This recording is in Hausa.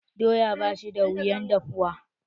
Doya ba shi da wuyan dahuwa.